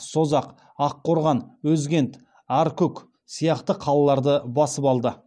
созақ аққорған өзгент аркүк сияқты қалаларды басып алады